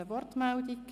– Das ist der Fall.